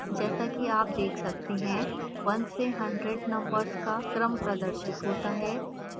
जैसा कि आप देख सकते हैं 1 से 100 नंबर्स का क्रम प्रदर्शित होता है